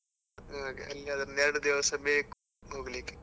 ಹಾಗೆ, ಅಲ್ಲಿ ಆದ್ರೆ ಇನ್ನು ಎರಡು ದಿವಸ ಬೇಕು ಹೋಗ್ಲಿಕ್ಕೆ.